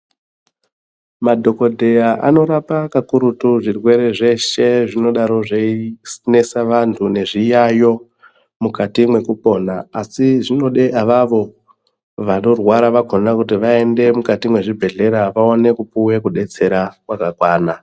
Madhokoteya ano rapa kakurutu zvirwere zveshe zvinodaro zvei nesa vandu nezviyayo mukati meku pona asi zvinode avavo vano rwara vakona kuti vaende mukati mezvi bhehleya vaone kupuwe kubetsera kwaka kwana.